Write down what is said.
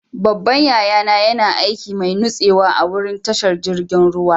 Babban yaya na yana aikin mai nutsewa a'wurin tashar jirigin ruwa.